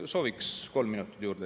Sooviks kolm minutit juurde.